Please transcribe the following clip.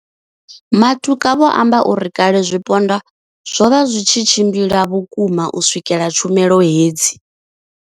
Matuka vho amba uri kale zwipondwa zwo vha zwi tshi tshimbila vhukuma u swikelela tshumelo hedzi.